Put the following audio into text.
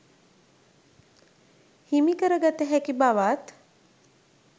හිමි කර ගත හැකි බවත්